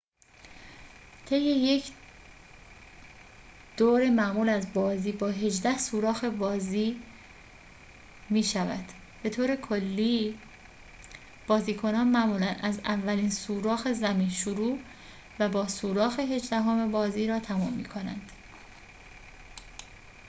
طی یک دور معمول از بازی با هجده سوراخ بازی می‌شود به‌طوری که بازیکنان معمولاً از اولین سوراخ زمین شروع و با سوراخ هجدهم بازی را تمام می‌کنند